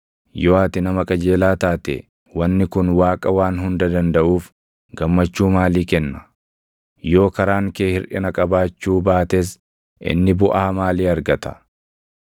Yoo ati nama qajeelaa taate wanni kun Waaqa Waan Hunda Dandaʼuuf // gammachuu maalii kenna? Yoo karaan kee hirʼina qabaachuu baates inni buʼaa maalii argata?